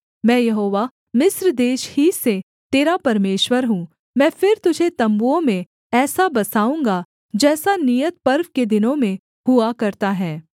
मैं यहोवा मिस्र देश ही से तेरा परमेश्वर हूँ मैं फिर तुझे तम्बुओं में ऐसा बसाऊँगा जैसा नियत पर्व के दिनों में हुआ करता है